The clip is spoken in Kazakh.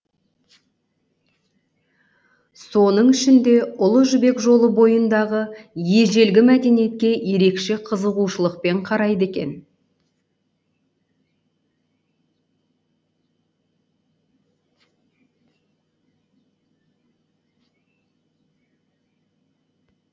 соның ішінде ұлы жібек жолы бойындағы ежелгі мәдениетке ерекше қызығушылықпен қарайды екен